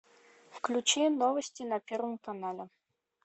включи новости на первом канале